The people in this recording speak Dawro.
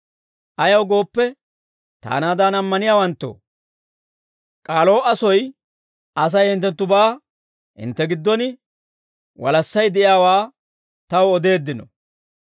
Ayaw gooppe, taanaadan ammaniyaawanttoo, K'aloo'a soy Asay hinttenttubaa, hintte giddon walassay de'iyaawaa, taw odeeddino.